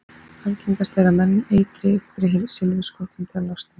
Algengast er að menn eitri fyrir silfurskottunum til að losna við þær.